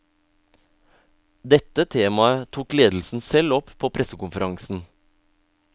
Dette temaet tok ledelsen selv opp på pressekonferansen.